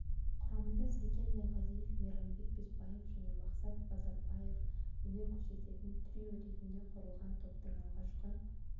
құрамында сәкен майғазиев мейрамбек бесбаев және мақсат базарбаев өнер көрсететін трио ретінде құрылған топтың алғашқы